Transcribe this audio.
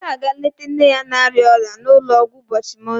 Emeka ga-aga leta nne ya na-arịa ọrịa n'ụlọọgwụ ụbọchị Mọnde.